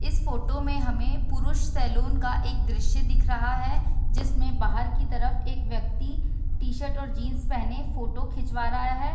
इस फोटो में हमें पुरुष सैलून का एक दृश्य दिख रहा है जिसमें बाहर की तरफ एक व्यक्ति टी-शर्ट और जींस पहने फोटो खिंचवा रहा है ।